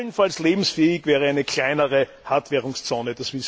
Allenfalls lebensfähig wäre eine kleinere Hartwährungszone.